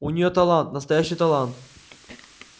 у нее талант настоящий талант